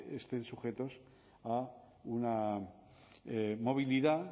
estén sujetos a una movilidad